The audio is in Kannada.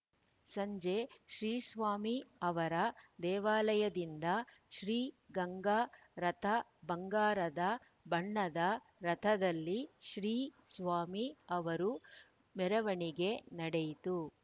ಸಂಜೆ ಶ್ರೀಸ್ವಾಮಿ ಅವರ ದೇವಾಲಯದಿಂದ ಶ್ರೀ ಗಂಗಾ ರಥ ಬಂಗಾರದ ಬಣ್ಣದ ರಥದಲ್ಲಿ ಶ್ರೀ ಸ್ವಾಮಿ ಅವರ ಮೆರವಣಿಗೆ ನಡೆಯಿತು